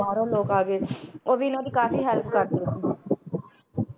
ਬਾਹਰੋਂ ਲੋਕ ਆ ਗਏ ਉਹ ਵੀ ਇਹਨਾਂ ਦੀ ਕਾਫ਼ੀ ਹੈਲਪ ਕਰਦੇ ਰਹਿੰਦੇ ਸੀ